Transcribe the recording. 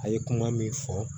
A ye kuma min fɔ